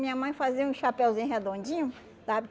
Minha mãe fazia um chapeuzinho redondinho, sabe?